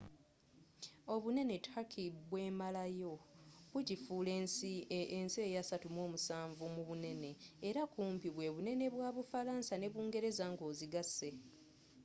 obunene turkey bwemalawo bugifuula ensi eya 37 mubunene era kumpi bwebunene bwa bufalansa ne bungereza nga ozigase